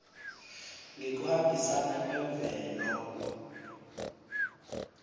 ngekuhambisana kwemvelo